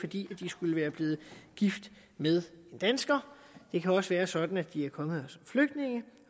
de skulle være blevet gift med en dansker det kan også være sådan at de er kommet her som flygtninge